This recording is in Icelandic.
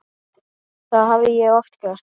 Það hafði ég oft gert.